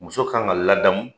Muso kan ka ladamu